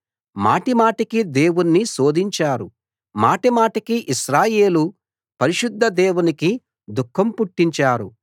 మాటిమాటికీ దేవుణ్ణి శోధించారు మాటిమాటికీ ఇశ్రాయేలు పరిశుద్ధ దేవునికి దుఃఖం పుట్టించారు